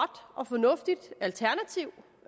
og fornuftigt alternativ